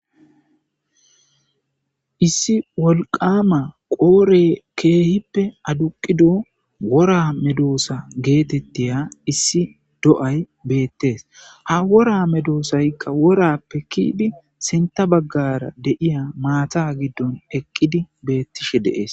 Issi wolqqama qodhey kehippe adduqido wora meddosa gettetiya issi do'ay bettes ha worra medosaykka worrappe kidi sinththa baggara deiya maata giddon eqqidi bettishe de'es.